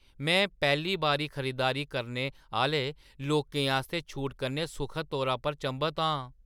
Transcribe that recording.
में पैह्‌ली बारी खरीदारी करने आह्‌ले लोकें आस्तै छूटें कन्नै सुखद तौरा पर चंभत आं।